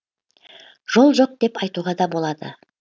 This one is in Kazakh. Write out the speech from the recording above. жол жоқ деп айтуға да болады